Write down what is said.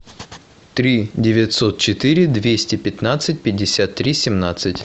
три девятьсот четыре двести пятнадцать пятьдесят три семнадцать